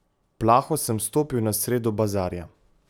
Plaho sem stopil na sredo bazarja.